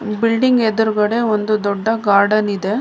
ಈ ಬಿಲ್ಡಿಂಗ್ ಎದುರುಗಡೆ ಒಂದು ದೊಡ್ಡ ಗಾರ್ಡನ್ ಇದೆ.